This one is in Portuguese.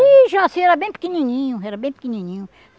Ih, Jaci era bem pequenininho, era bem pequenininho.